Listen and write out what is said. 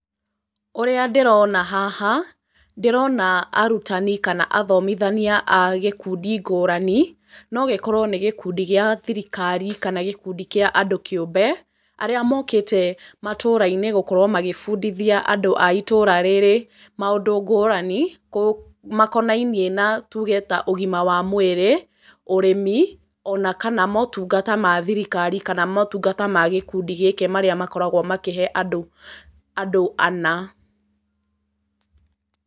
Ũrĩa ndĩrona haha, ndĩrona arutani kana athomithania a gĩkundi ngũrani, no gĩkorwo nĩ gĩkundi gĩa thirikari kana gĩkundi kĩa andũ kĩũmbe, arĩa mokĩte matũra-inĩ gũkorwo magĩbundithia andũ a itũra rĩrĩ maũndũ ngũrani, makonainiĩ na tuge ta ũgima wa mwĩrĩ, ũrĩmi, ona kana motungata ma thirikari kana motungata ma gĩkundi gĩkĩ marĩa makoragwo makĩhe andũ anaa.